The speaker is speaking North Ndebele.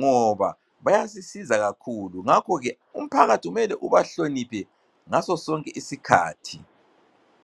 ngoba bayasisiza kakhulu. Ngakho ke, umphakathi umele ubahloniphe ngaso sonke isikhathi.